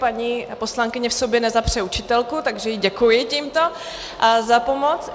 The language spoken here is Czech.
Paní poslankyně v sobě nezapře učitelku, takže jí děkuji tímto za pomoc.